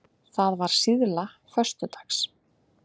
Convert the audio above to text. Það var síðla föstudags.